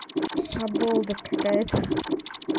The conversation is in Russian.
шаболда какая-то